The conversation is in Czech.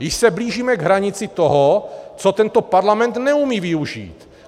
Již se blížíme k hranici toho, co tento parlament neumí využít.